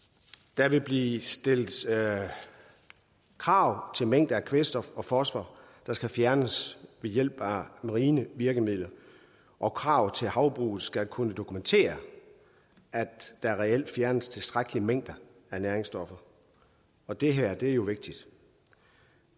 der vil blive stillet krav til mængde af kvælstof og fosfor der skal fjernes ved hjælp af marine virkemidler og krav til havbrug skal kunne dokumentere at der reelt fjernes tilstrækkelige mængder af næringsstoffer og det her er jo vigtigt